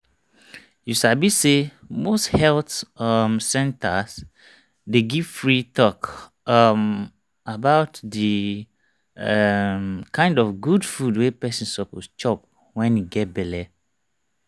you sabi say most health um centers dey give free talk um about the um kind of good food wey person suppose chop wen e get belle